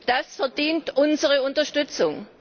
Das verdient unsere Unterstützung.